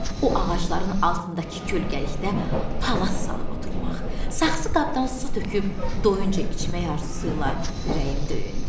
O ağacların altındakı kölgəlikdə palaz salıb oturmaq, saxsı qabdan su töküb doyuncə içmək arzusuyla ürəyim döyündü.